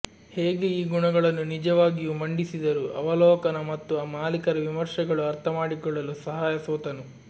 ಹೇಗೆ ಈ ಗುಣಗಳನ್ನು ನಿಜವಾಗಿಯೂ ಮಂಡಿಸಿದರು ಅವಲೋಕನ ಮತ್ತು ಮಾಲೀಕರ ವಿಮರ್ಶೆಗಳು ಅರ್ಥಮಾಡಿಕೊಳ್ಳಲು ಸಹಾಯ ಸೋತನು